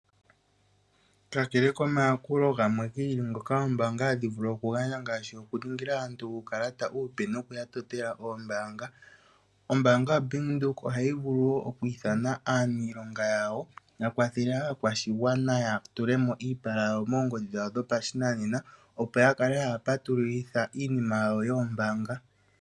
Kakele komayakulo gamwe gi ili ngoka ombaanga hayi vulu okugandja ngaashi okuningila aantu uukalata uupe noku ya totela oombaanga. Ombaanga yaBank Windhoek ohayi vulu wo okwiithana aaniilonga yawo ya kwathele aakwashigwana ya tulemo iipala yawo moongodhi dhopashinanena opo yak kale haya patululitha oombaanga.